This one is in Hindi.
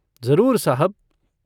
जरूर साहब।